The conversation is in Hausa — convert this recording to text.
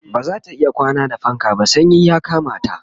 bazata iya kwana da fanka ba sanyi ya Kamata